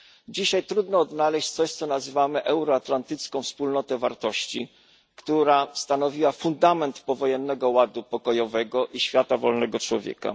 Dzisiaj trudno odnaleźć coś, co nazywamy euroatlantycką wspólnotą wartości, która stanowiła fundament powojennego ładu pokojowego i świata wolnego człowieka.